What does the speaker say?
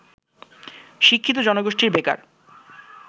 শিক্ষিত জনগোষ্ঠী বেকার